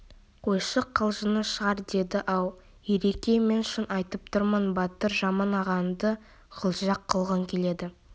қойшы қалжыңы шығар деді ау ереке мен шын айтып тұрмын батыр жаман ағаңды қылжақ қылғың келеді